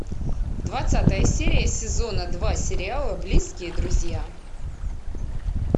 двадцатая серия сезона два сериала близкие друзья